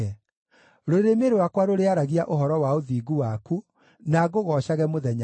Rũrĩmĩ rwakwa rũrĩaragia ũhoro wa ũthingu waku, na ngũgoocage mũthenya wothe.